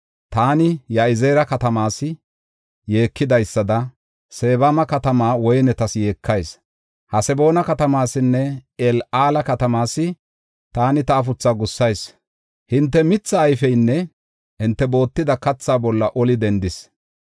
Taani Ya7izeera katamaas yeekidaysada Sebama katamaa woynetas yeekayis. Haseboona katamaasine El7aala katamaas, taani ta afuthaa gussayis. Hinte mithaa ayfiyanne hinte bootida kathaa bolla oli dendis.